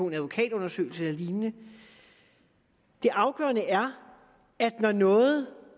en advokatundersøgelse eller lignende det afgørende er at når noget